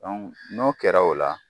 n'o kɛra o la